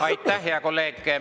Aitäh, hea kolleeg!